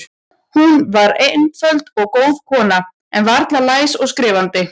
Hún var einföld og góð kona, en varla læs eða skrifandi.